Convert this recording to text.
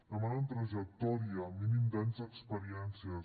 demanen trajectòria mínim d’anys d’experiències